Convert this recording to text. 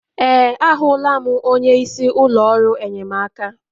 Ee, ahụla m onye isi ụlọ ọrụ enyemaka.